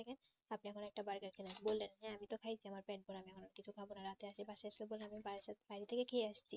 আপনি আমাদের একটা বাইরে কিনা বললেন যে আমিতো খাইছি আমার পেট ভরা না আমি এখন কিছু খাবো না রাতে আসে পশে সদেনেবেন বাড়িথেকে খেয়ে এসছি